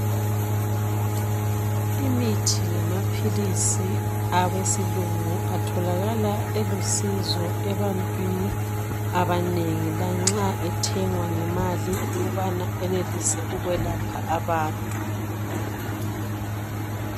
Imithi lamaphilisi abesilungu atholakala elusizo ebantwini abanengi lanxa ethengwa ngemali ukubana enelise ukulapha abantu